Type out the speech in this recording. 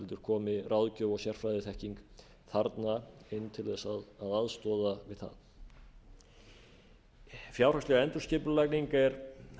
komi ráðgjöf og sérfræðiþekking þarna inn til þess að aðstoða við það fjárhagsleg endurskipulagning er